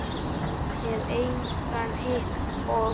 Hef engan hitt og.